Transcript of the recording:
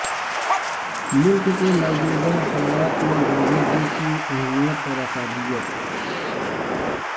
ملک کے موجودہ حالات میں گاندھی جی کی اہمیت اور افادیت